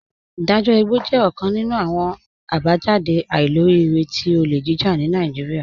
Idajọ igbọ jẹ ọkan nínu awọn abajáde àìlòríìrẹ̀ tí ọlé jíjà ni Naijíríà.